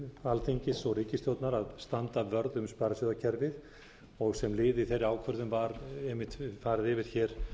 alþingis og ríkisstjórnar að standa vörð um sparisjóðakerfið sem lið í þeirri ákvörðun var einmitt farið yfir hér